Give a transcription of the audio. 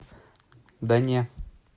да не